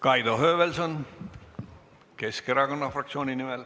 Kaido Höövelson Keskerakonna fraktsiooni nimel.